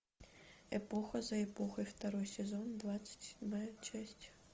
эпоха за эпохой второй сезон двадцать седьмая часть